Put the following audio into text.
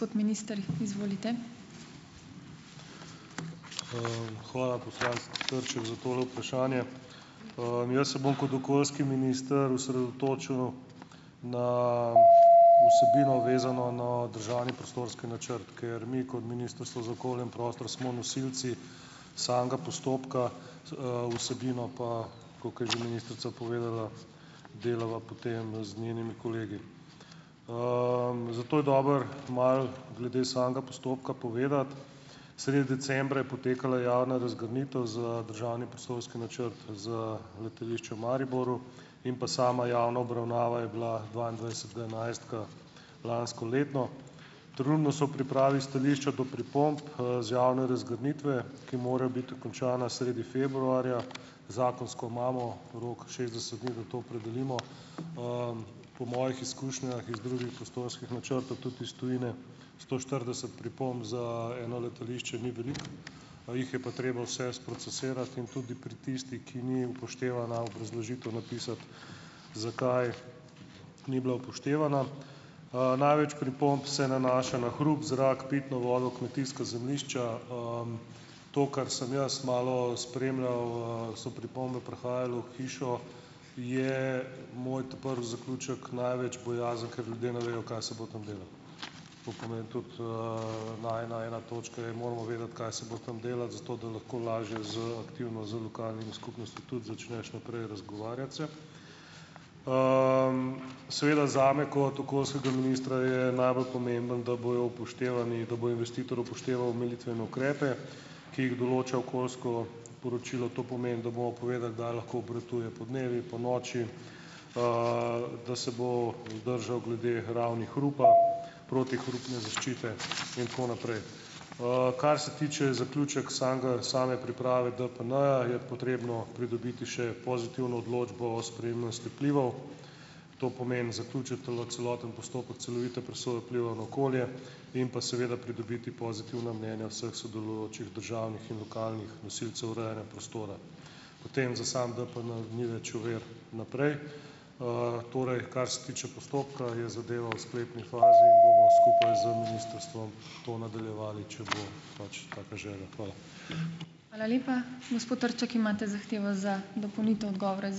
Hvala, poslanec Trček za tole vprašanje. Jaz se bom kot okoljski minister osredotočil na vsebino, vezano na državni prostorski načrt, ker mi kot Ministrstvo za okolje in prostor smo nosilci samega postopka, vsebino pa, tako ke je že ministrica povedala, delava potem z njenimi kolegi. Zato je dobro malo glede samega postopka povedati. Sredi decembra je potekala javna razgrnitev za državni prostorski načrt za letališče v Mariboru in pa sama javna obravnava je bila dvaindvajsetega enajstega lansko leto. Trenutno so v pripravi stališča do pripomb, z javne razgrnitve, ki morajo biti končana sredi februarja. Zakonsko imamo rok šestdeset dni, da to opredelimo. Po mojih izkušnjah iz drugih prostorskih načrtov, tudi iz tujine, sto štirideset pripomb za eno letališče ni veliko, jih je pa treba vse sprocesirati in tudi pri tistih, ki ni upoštevana obrazložitev napisati, zakaj ni bila upoštevana. Največ pripomb se nanaša na hrup, zrak, pitno vodo, kmetijska zemljišča. To, kar sem jaz malo spremljal, so pripombe prihajale v hišo, je moj ta prvi zaključek največja bojazen, ker ljudje ne vejo, kaj se bo tam delalo. To pomeni tudi, na ena ena točke je, moramo vedeti, kaj se bo tam delalo, zato da lahko lažje z aktivno z lokalnimi skupnostmi tudi začneš naprej razgovarjati se. Seveda zame kot okoljskega ministra je najbolj pomembno, da bojo upoštevani, da bo investitor upošteval omilitvene ukrepe, ki jih določa okoljsko poročilo. To pomeni, da bomo povedali, da lahko obratuje podnevi, ponoči, da se bo držal glede ravni hrupa , protihrupne zaščite in tako naprej. Kar se tiče zaključka samega same priprave DPN, je potrebno pridobiti še pozitivno odločbo o sprejemnosti vplivov. To pomeni, zaključiti tule celoten postopek, celovite presoje vplivov na okolje in pa seveda pridobiti pozitivna mnenja vseh sodelujočih državnih in lokalnih nosilcev urejanja prostora. Potem za samo DPN ni več ovir naprej. Torej, kar se tiče postopka, je zadeva v sklepni fazi in bomo skupaj z ministrstvom to nadaljevali, če bo pač taka želja. Hvala.